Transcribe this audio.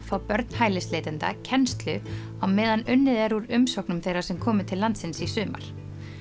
fá börn hælisleitenda kennslu á meðan unnið er úr umsóknum þeirra sem komu til landsins í sumar